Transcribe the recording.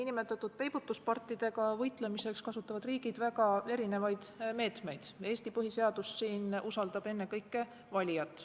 Niinimetatud peibutuspartidega võitlemiseks kasutavad riigid väga erinevaid meetmeid, Eesti põhiseadus usaldab siin ennekõike valijat.